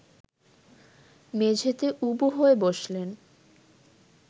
মেঝেতে উবু হয়ে বসলেন